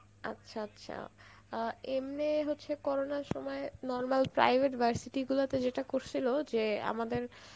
আচ্ছা আচ্ছা আ এমনে হচ্ছে corona র সময় normal private গুলো তে যেটা করছিল, যে আমাদের,